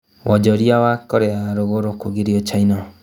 Wonjoria wa Korea ya rũrũgũrũ kũgirio China